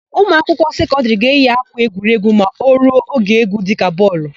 Ụmụakwụkwọ sekọndịrị ga-eyi ákwà egwuregwu ma o ruo oge égwú dịka bọọlụ.